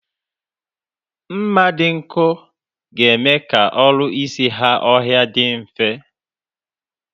Mma dị nkọ ga-eme ka ọrụ isi ha ọhịa dị mfe